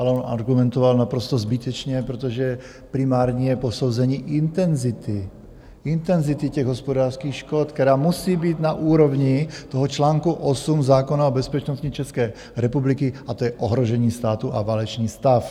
Ale on argumentoval naprosto zbytečně, protože primární je posouzení intenzity, intenzity těch hospodářských škod, která musí být na úrovni toho článku 8 zákona o bezpečnostní České republiky, a to je ohrožení státu a válečný stav.